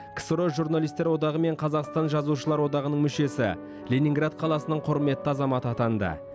ксро журналистер одағы мен қазақстан жазушылар одағының мүшесі ленинград қаласының құрметті азаматы атанды